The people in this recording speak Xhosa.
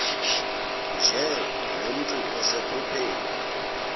nje nomntu osephupheni